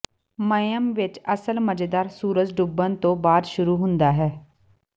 ਮਾਈਅਮ ਵਿਚ ਅਸਲ ਮਜ਼ੇਦਾਰ ਸੂਰਜ ਡੁੱਬਣ ਤੋਂ ਬਾਅਦ ਸ਼ੁਰੂ ਹੁੰਦਾ ਹੈ